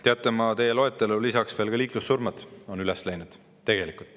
Teate, ma teie loetellu lisaks veel, et ka liiklussurmade arv on üles läinud.